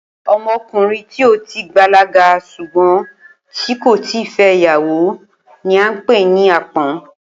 O̩mo̩kùnrin tí ó ti bàlágà s̩ùgbó̩n tí kò ì tíì fé̩ ìyàwó ni à ń pè ní àpó̩n